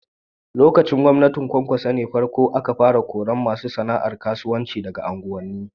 Lokacin gwamnatin Kwankwaso ne ta farko ne aka kori masu sana'ar karuwanci daga unguwanni.